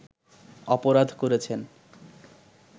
অপরাধ করেছেন